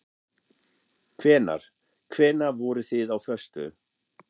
Hvenær. hvenær voruð þið á föstu?